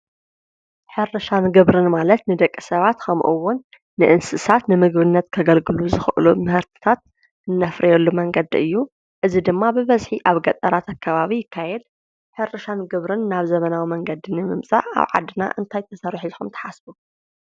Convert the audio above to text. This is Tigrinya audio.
ሕርሻን ግብርን ማለት ንደቂ ሰባት ከምኡ ዉን ንእንስሳት ንምግብነት ከገልግሉ ዝክእሉ ምህርቲታ እነፍርየሉ መንገዲ እዩ ፡፡ እዚ ድማ ብበዝሒ ኣብ ገጠራት ኣከባቢ ይካየድ፡፡ ሕርሻን ግብርን ናብ ዘበናዊ መንገዲ ንምምፃእ ኣብ ዓድና እንታይ ክንሰርሕ ኢልኩም ትሓስቡ?